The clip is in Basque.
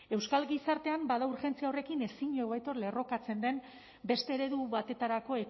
euskal gizartean bada urgentzia horrekin ezin hobeto lerrokatzen den beste eredu batetarako